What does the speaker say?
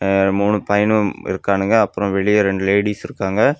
அஅ மூணு பயனுங்க இருக்கானுங்க அப்புறம் வெளியே ரெண்டு லேடிஸ் இருக்காங்க.